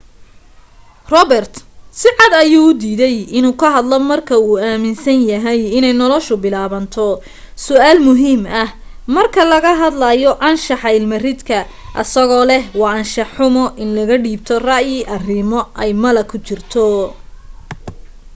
robert sicad ayuu u diiday in uu ka hadlo marka uu aminsan yahay inay nolasha bilaabato su'aal muhiim ah marka laga hadlayo anshaxa ilma ridka asagoo leh waa anshax xumo in laga dhiibo ra'yi arimo ay malo ku jirto